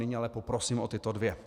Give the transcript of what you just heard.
Nyní ale poprosím o tyto dvě.